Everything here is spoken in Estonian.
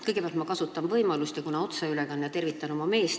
Kõigepealt ma kasutan võimalust tervitada oma meest, kuna on otseülekanne.